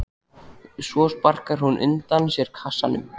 Svo sparkar hún undan sér kassanum.